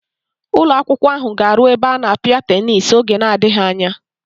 Ụlọakwụkwọ ahụ ga-aru ebe a na-apịa tenis n'oge adịghị anya.